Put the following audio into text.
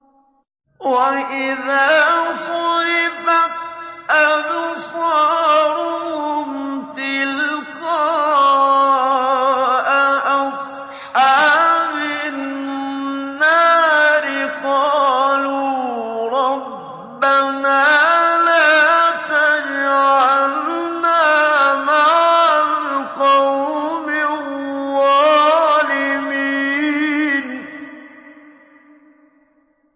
۞ وَإِذَا صُرِفَتْ أَبْصَارُهُمْ تِلْقَاءَ أَصْحَابِ النَّارِ قَالُوا رَبَّنَا لَا تَجْعَلْنَا مَعَ الْقَوْمِ الظَّالِمِينَ